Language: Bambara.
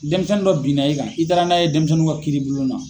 Denmisɛnnin dɔ bin na i kan, i taara n'a ye denmisɛnninw ka kiiri bulon na.